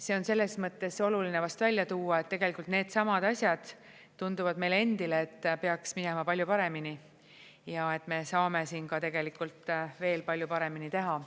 See on selles mõttes oluline vast välja tuua, et tegelikult needsamad asjad tunduvad meile endile, et peaks minema palju paremini ja et me saame siin tegelikult veel palju paremini teha.